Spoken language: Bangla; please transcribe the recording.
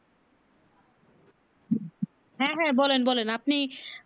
হ্যাঁ হ্যাঁ বলেন বলেন আপনি